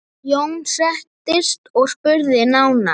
Jón settist og spurði nánar.